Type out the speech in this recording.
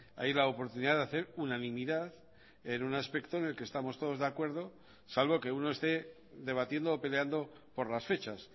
hay la oportunidad de hacer unanimidad en un aspecto en el que estamos todos de acuerdo salvo que uno esté debatiendo o peleando por las fechas